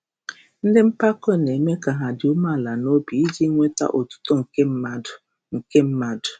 Ndị mpako na-eme ka ha dị umeala n’obi iji nweta otuto nke mmadụ. nke mmadụ.